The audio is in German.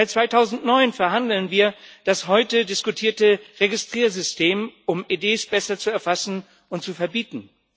Seit 2009 verhandeln wir über das heute diskutierte Registriersystem, um EDs besser zu erfassen und zu verbieten.